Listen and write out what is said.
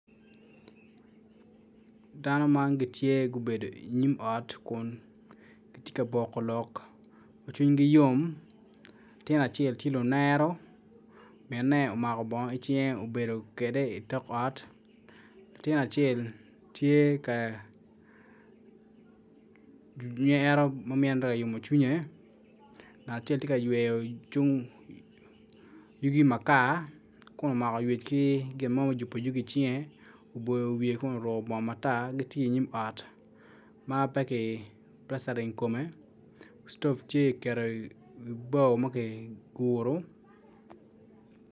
Dano man gitye gubedo i nyim ot kun gitye ka boko lok ma cwinygi yom latin acel tye lunero minne omako bongo i cinge obedo kwede i tok ot latin acel tye ka nyero ma minne oyomo cwinye ngat acel tye ka yweyo yugi cung makar.